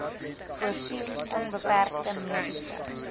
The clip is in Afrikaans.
voorsien onbeperkte mediese